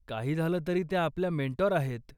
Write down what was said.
काही झालं तरी त्या आपल्या मेंटोर आहेत.